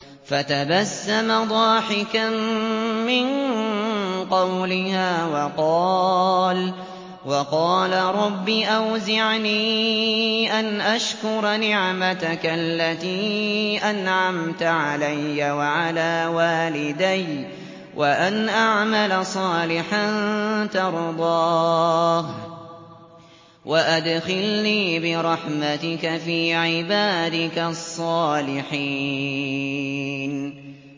فَتَبَسَّمَ ضَاحِكًا مِّن قَوْلِهَا وَقَالَ رَبِّ أَوْزِعْنِي أَنْ أَشْكُرَ نِعْمَتَكَ الَّتِي أَنْعَمْتَ عَلَيَّ وَعَلَىٰ وَالِدَيَّ وَأَنْ أَعْمَلَ صَالِحًا تَرْضَاهُ وَأَدْخِلْنِي بِرَحْمَتِكَ فِي عِبَادِكَ الصَّالِحِينَ